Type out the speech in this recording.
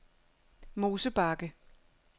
Mosebakke